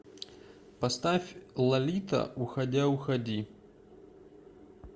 поставь лолита уходя уходи